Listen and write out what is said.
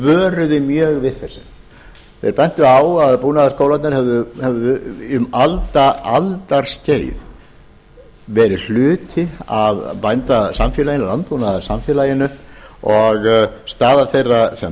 vöruðu mjög við þessu þeir bentu á að búnaðarskólarnir hefðu um aldaskeið verið hluti af bændasamfélaginu landbúnaðarsamfélaginu og staða þeirra sem